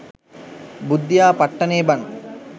බුද්ධියා පට්ටනේ බන්